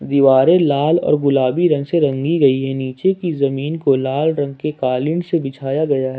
दीवारे लाल और गुलाबी रंग से रंगी गई हैं नीचे की जमीन को लाल रंग के कालीन से बिछाया गया है।